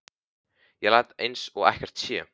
Ég læt eins og ekkert sé.